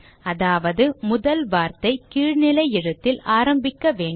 அதாவது முதல் வார்த்தை கீழ் நிலை எழுத்தில் ஆரம்பிக்க வேண்டும்